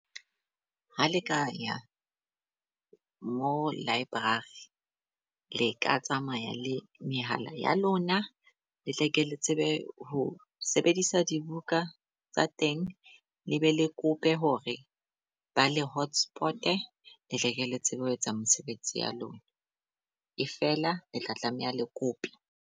Ha le kaya mo library le ka tsamaya le mehala ya lona, le tle ke le tsebe ho sebedisa dibuka tsa teng. Le be le kope hore ba le hotspot-e te tleke le tsebe ho etsa mosebetsi ya lona. E fela le tla tlameha le kope.